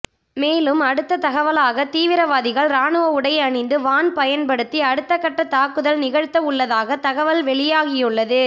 மேலும் அடுத்த தகவலாக தீவிரவாதிகள் ராணுவ உடை அணிந்து வான் பயன்படுத்தி அடுத்தகட்ட தாக்குதல் நிகழ்த்தவுள்ளதாக தகவல் வெளியாகியுள்ளது